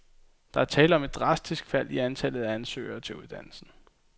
Der er tale om et drastisk fald i antallet af ansøgere til uddannelsen.